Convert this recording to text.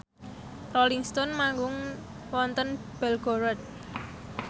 Rolling Stone manggung wonten Belgorod